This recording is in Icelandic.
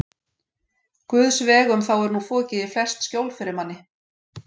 Guðs vegum þá er nú fokið í flest skjól fyrir manni!